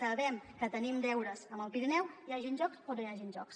sabem que tenim deures amb el pirineu hi hagin jocs o no hi hagin jocs